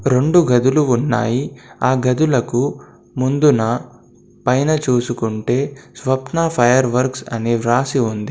రెండు గదులు ఉన్నాయి. ఆ గదులకు ముందున పైన చూసుకుంటే స్వప్న ఫైర్ వర్క్స్ అని వ్రాసి ఉంది.